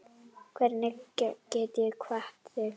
Hvernig get ég kvatt þig?